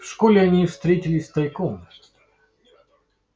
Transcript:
в школе они встретились тайком